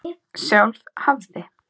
Sjálf hafði